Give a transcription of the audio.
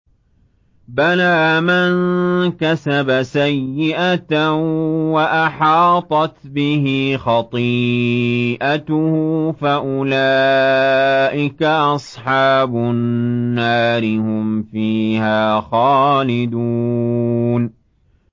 بَلَىٰ مَن كَسَبَ سَيِّئَةً وَأَحَاطَتْ بِهِ خَطِيئَتُهُ فَأُولَٰئِكَ أَصْحَابُ النَّارِ ۖ هُمْ فِيهَا خَالِدُونَ